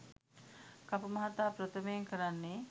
කපු මහතා ප්‍රථමයෙන් කරන්නේ